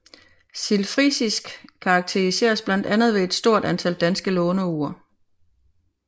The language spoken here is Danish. Sildfrisisk karakteriseres blandt andet ved et stort antal danske låneord